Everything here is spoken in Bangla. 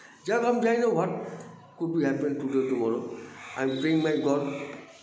যাক আমি জানিনা what could be happen today tomorrow I praying my god